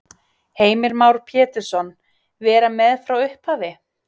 Heimir Már Pétursson: Vera með frá upphafi?